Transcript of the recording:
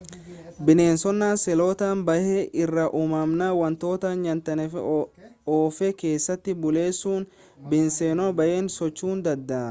bineensonni seeloota baay'ee irraa umaman wantoota nyaatanii of keessatti bulleessu bineensonni baay'een socho'uu danda'u